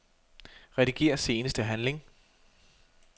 Rediger seneste handling.